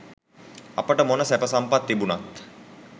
අපට මොන සැප සම්පත් තිබුණත්